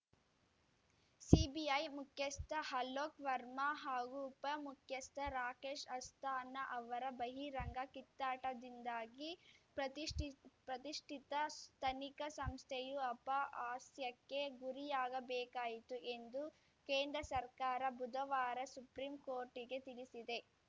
CBI ಮುಖ್ಯಸ್ಥ ಅಲೋಕ್‌ ವರ್ಮಾ ಹಾಗೂ ಉಪಮುಖ್ಯಸ್ಥ ರಾಕೇಶ್‌ ಅಸ್ಥಾನಾ ಅವರ ಬಹಿರಂಗ ಕಿತ್ತಾಟದಿಂದಾಗಿ ಪ್ರತಿಷ್ಠಿತ ತನಿಖಾ ಸಂಸ್ಥೆಯು ಅಹಪಾಸ್ಯಕ್ಕೆ ಗುರಿಯಾಗಬೇಕಾಯಿತು ಎಂದು ಕೇಂದ್ರ ಸರ್ಕಾರ ಬುಧವಾರ ಸುಪ್ರೀಂಕೋರ್ಟಿಗೆ ತಿಳಿಸಿದೆ